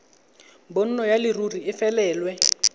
bonno ya leruri e felelwe